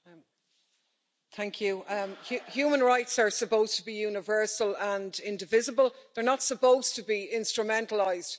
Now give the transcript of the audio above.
Madam President, human rights are supposed to be universal and indivisible. They're not supposed to be instrumentalised.